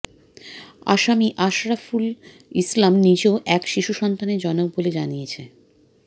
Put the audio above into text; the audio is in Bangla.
আসামি আশরাফুল ইসলাম নিজেও এক শিশু সন্তানের জনক বলে পুলিশ জানিয়েছে